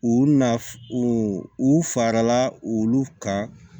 U na u u farala olu kan